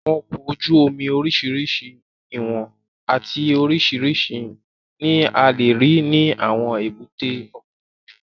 Àwọn ọkọ̀ ojú omi oríṣiríṣi ìwọ̀n àti oríṣiríṣi ní a lè rí ní àwọn èbúté ọkọ̀ ojú omi